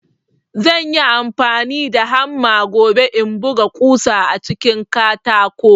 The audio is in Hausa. Zanyi amfani da hamma gobe in buga ƙusa a cikin katako